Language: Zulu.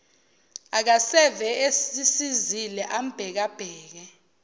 akaseve esisizile ambhekabheke